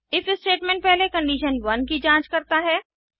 if statement पहले condition 1 की जांच करता है